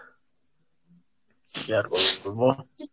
কি আর বলবো,